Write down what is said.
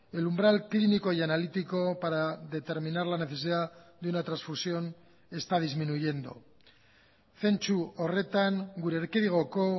el umbral clínico y analítico para determinar la necesidad de una transfusión está disminuyendo zentzu horretan gure erkidegoko